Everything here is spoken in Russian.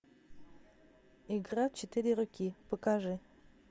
игра в четыре руки покажи